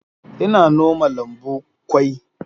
Ina noma lambu kwai.